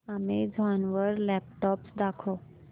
Amazon वर laptops दाखव